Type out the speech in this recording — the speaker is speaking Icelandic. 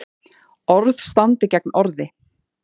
Orð standi gegn orði